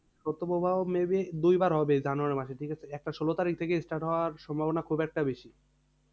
শৈত্য প্রবাহ maybe দুইবার হবে জানুয়ারী মাসে, ঠিকাছে? একটা ষোলো তারিখ থেকে start হওয়ার সম্বভনা খুব একটা বেশি।